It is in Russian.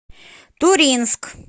туринск